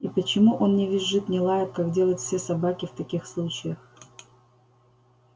и почему он не визжит не лает как делают все собаки в таких случаях